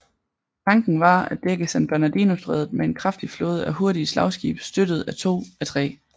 Tanken var at dække San Bernardino strædet med en kraftig flåde af hurtige slagskibe støttet af to af 3